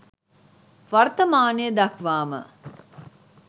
වර්තමානය දක්වා ම